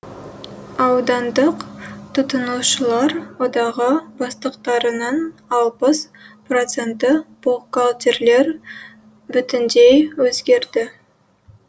аудандық тұтынушылар одағы бастықтарының алпыс проценті бухгалтерлер бүтіндей өзгерді